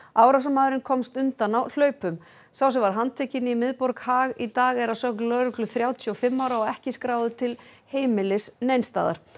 árásarmaðurinn komst undan á hlaupum sá sem var handtekinn í miðborg Haag í dag er að sögn lögreglu þrjátíu og fimm ára og ekki skráður til heimilis neins staðar